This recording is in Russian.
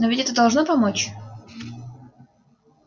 но ведь это должно помочь